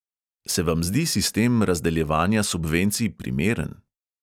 Se vam zdi sistem razdeljevanja subvencij primeren?